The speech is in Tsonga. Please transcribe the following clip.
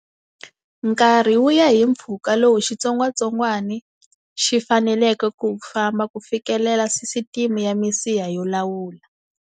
Nkarhi wu ya hi mpfhuka lowu xitsongwatsongwana xi faneleke ku wu famba ku fikelela sisiteme ya misiha yo lawula.